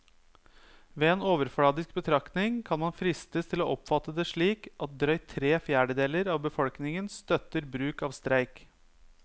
Ved en overfladisk betraktning kan man fristes til å oppfatte det slik at drøyt tre fjerdedeler av befolkningen støtter bruk av streik.